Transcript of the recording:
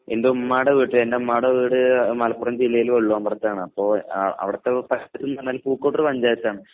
എന്റുമ്മാടെ വീട്ടിൽ എന്റുമ്മാടെ വീട് മലപ്പുറം ജില്ലയില് വള്ളുവമ്പ്രത്താണ്. അപ്പോ ആഹ് അവിടുത്തെ എന്ന് പറഞ്ഞാൽ പൂക്കോട്ടൂർ പഞ്ചായത്താണ്.